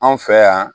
Anw fɛ yan